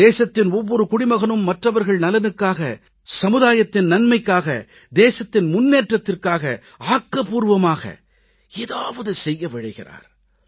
தேசத்தின் ஒவ்வொரு குடிமகனும் மற்றவர்கள் நலனுக்காக சமுதாயத்தின் நன்மைக்காக தேசத்தின் முன்னேற்றத்திற்காக ஆக்கப்பூர்வமாக ஏதாவது செய்ய விழைகிறார்